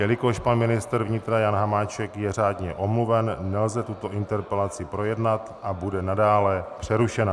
Jelikož pan ministr vnitra Jan Hamáček je řádně omluven, nelze tuto interpelaci projednat a bude nadále přerušena.